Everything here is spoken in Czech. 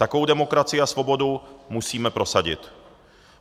Takovou demokracii a svobodu musíme prosadit.